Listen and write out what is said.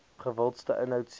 gewildste inhoud sien